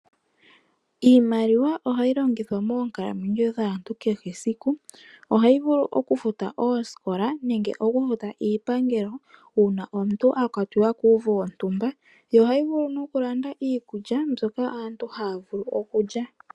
Iimaliwa ohayi longithwa moonkalamwenyo dhaantu kehe esiku, ohayi vulu okufuta osikola nenge okufuta Iipangelo una omuntu akwatiwa kuuvu wontumba yo ohayi vulu nokulanda iikulya mbyoka aantu havulu okulya.